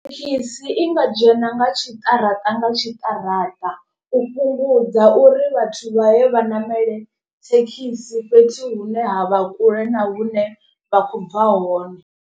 Thekhisi i nga dzhena nga tshiṱaraṱa nga tshiṱaraṱa. U fhungudza uri vhathu vha ye vha namele thekhisi fhethu hune ha vha kule na hune vha khou bva hone.